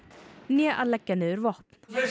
né að leggja niður vopn